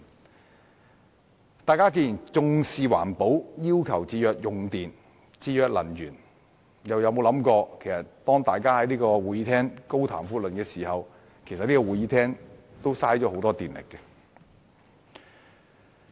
既然大家重視環保，要求節約用電和節約能源，為何沒有想到在會議廳內高談闊論，其實也會浪費很多電力？